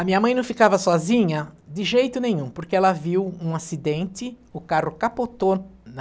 A minha mãe não ficava sozinha de jeito nenhum, porque ela viu um acidente, o carro capotou na...